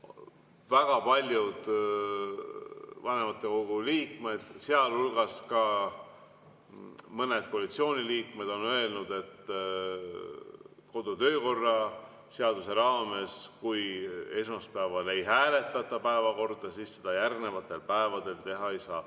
Väga paljud vanematekogu liikmed, sealhulgas mõned koalitsiooniliikmed, on öelnud, et kodu- ja töökorra seaduse raames, kui esmaspäeval ei hääletata päevakorda, siis seda järgnevatel päevadel teha ei saa.